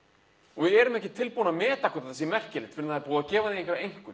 og við erum ekki tilbúin að meta hvort það sé merkilegt fyrr en það er búið að gefa því einhverja einkunn